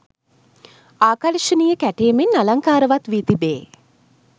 ආකර්ශනීය කැටයමින් අලංකාරවත් වී තිබේ.